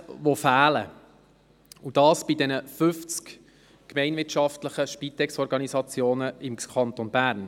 Das Geld fehlt bei den 50 gemeinwirtschaftlichen Spitex-Organisationen im Kanton Bern.